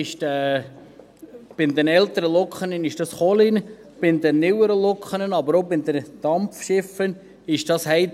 Bei den älteren Lokomotiven ist dies Kohle, bei den neueren Lokomotiven, aber auch bei den Dampfschiffen, ist dies Heizöl.